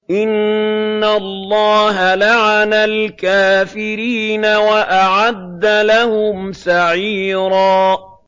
إِنَّ اللَّهَ لَعَنَ الْكَافِرِينَ وَأَعَدَّ لَهُمْ سَعِيرًا